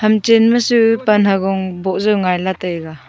ham chen masu pan hagong boh jaw ngaila taiga.